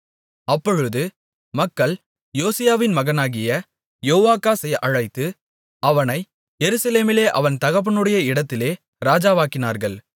அப்பொழுது மக்கள் யோசியாவின் மகனாகிய யோவாகாசை அழைத்து அவனை எருசலேமிலே அவன் தகப்பனுடைய இடத்திலே ராஜாவாக்கினார்கள்